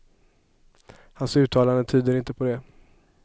Hans uttalande tyder inte på det.